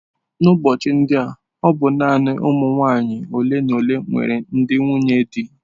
Ụbọchị ndi a ọ bụ naanị ụmụ nwanyị ole na ole nwere ndị nwunye di.